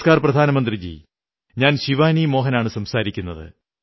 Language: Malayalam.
നമസ്കാർ പ്രധാനമന്ത്രിജീ ഞാൻ ശിവാനീ മോഹൻ ആണു സംസാരിക്കുന്നത്